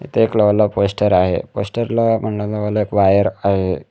इथे एक लावला पोस्टर आहे पोस्टरला एक वायर आहे.